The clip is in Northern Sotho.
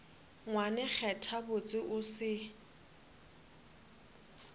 ngwane kgetha botse o se